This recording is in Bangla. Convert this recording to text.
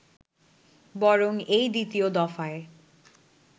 বরং এই দ্বিতীয় দফায়